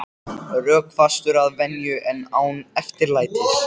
Rökfastur að venju en án yfirlætis.